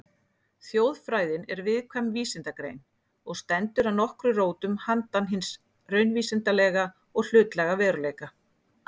Þjóðfræðin er viðkvæm vísindagrein og stendur að nokkru rótum handan hins raunvísindalega og hlutlæga veruleika.